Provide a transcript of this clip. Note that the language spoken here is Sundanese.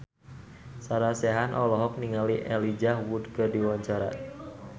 Sarah Sechan olohok ningali Elijah Wood keur diwawancara